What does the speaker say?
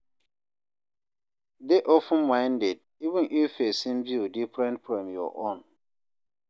Dey open-minded, even if person view different from your own.